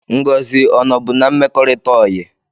Ngozi ọ nọ bụ n'mmekorita oyi?